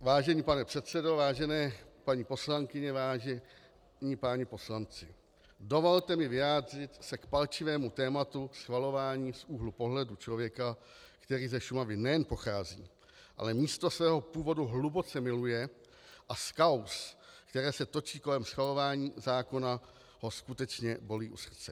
"Vážený pane předsedo, vážené paní poslankyně, vážení páni poslanci, dovolte mi vyjádřit se k palčivému tématu schvalování z úhlu pohledu člověka, který ze Šumavy nejen pochází, ale místo svého původu hluboce miluje a z kauz, které se točí kolem schvalování zákona, ho skutečně bolí u srdce.